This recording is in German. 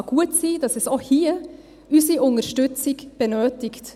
Es kann gut sein, dass es auch hier unsere Unterstützung benötigt.